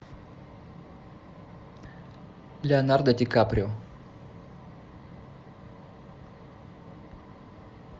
леонардо ди каприо